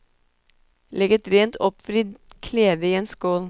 Legg et rent oppvridd klede i en skål.